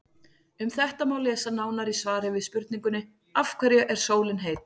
Um þetta má lesa nánar í svari við spurningunni Af hverju er sólin heit?.